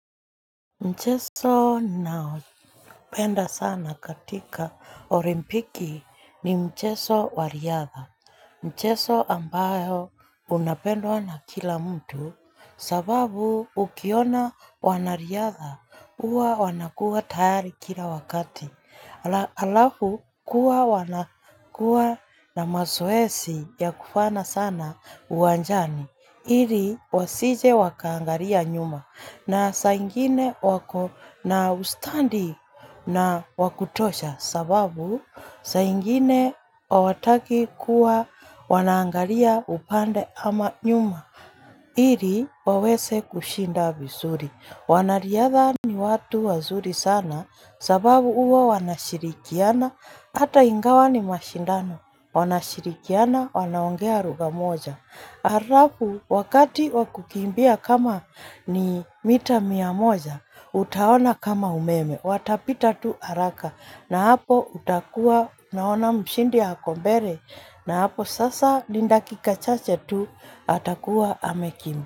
Mchezo naopenda sana katika olimpiki ni mchezo wariadha. Mcheso ambayo unapendwa na kila mtu sababu ukiona wanariadha uwa wanakuwa tayari kila wakati. Alafu kuwa wanakuwa na mazoezi ya kufana sana uwanjani. Iri wasije wakaangaria nyuma na saingine wako na ustandi na wakutosha sababu saingine wawataki kuwa wanaangaria upande ama nyuma. Iri wawese kushinda visuri. Wanariadha ni watu wazuri sana sababu uwa wanashirikiana ata ingawa ni mashindano. Wanashirikiana wanaongea ruga moja. Harafu wakati wakukimbia kama ni mita miyamoja, utaona kama umeme, watapita tu haraka na hapo utakuwa naona mshindi hakombere na hapo sasa lindaki kachache tu atakuwa amekimi.